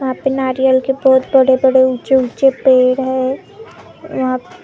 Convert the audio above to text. वहां पे नारियल के बहुत बड़े बड़े ऊँचे ऊँचे पेड़ हैं यहाँ।